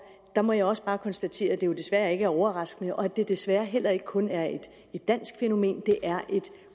der må jeg også bare konstatere at det jo desværre ikke er overraskende og at det desværre heller ikke kun er et dansk fænomen det er et